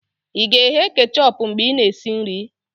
ị ga-eghe kechọpụ mgbe ị na-esi nri?